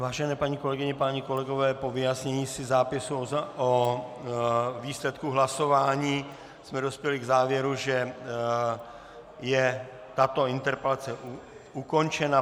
Vážené paní kolegyně, páni kolegové, po vyjasnění si zápisu o výsledku hlasování jsme dospěli k závěru, že je tato interpelace ukončena.